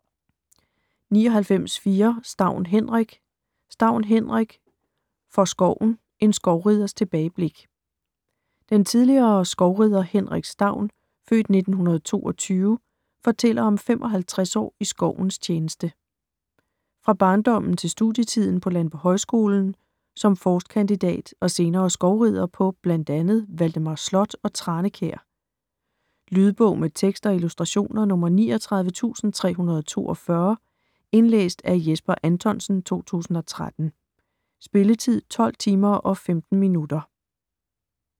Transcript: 99.4 Staun, Henrik Staun, Henrik: For skoven: en skovriders tilbageblik Den tidligere skovrider Henrik Staun (f. 1922) fortæller om 55 år i skovens tjeneste. Fra barndommen til studietiden på landbohøjskolen, som forstkandidat og senere skovrider bl.a. på Valdemars slot og Tranekær. Lydbog med tekst og illustrationer 39342 Indlæst af Jesper Anthonsen, 2013. Spilletid: 12 timer, 15 minutter.